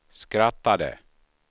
skrattade